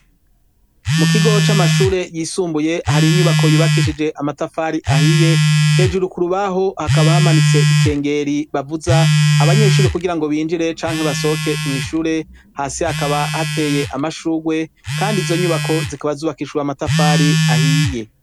Mu kigo c'amashure yisumbuye hari inyubako yubakishije amatafari ahiye hejuru ku rubaho hakaba hamanitse ikengeri bavuza abanyeshure kugira ngo binjire canke basohoke mw'ishure hasi hakaba hateye amashurwe kandi izo nyubako zikaba zubakishijwe amatafari ahiye.